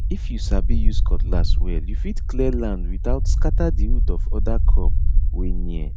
if you sabi use cutlass well you fit clear land without scatter the root of other crop wey near